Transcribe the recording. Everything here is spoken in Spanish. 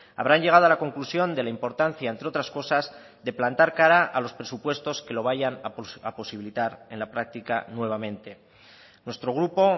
habrán llegado a la conclusión de la importancia entre otras cosas de plantar cara a los presupuestos que lo vayan a posibilitar en la práctica nuevamente nuestro grupo